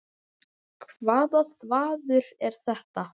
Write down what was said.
Hvaða þvaður er þetta?